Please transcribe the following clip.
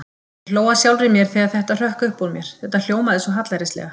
Ég hló að sjálfri mér þegar þetta hrökk upp úr mér, þetta hljómaði svo hallærislega.